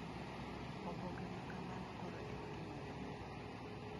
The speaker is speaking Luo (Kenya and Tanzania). Oboke ma kamano koro en gima duong’.